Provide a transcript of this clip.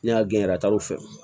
Ne y'a gɛn a taar'o fɛ